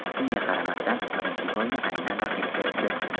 Shunga qaramasdan birinchi golni aynan raqib kiritdi.